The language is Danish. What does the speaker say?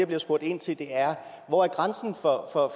bliver spurgt ind til er hvor er grænsen